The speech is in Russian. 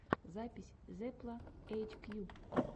запись зепла эйчкью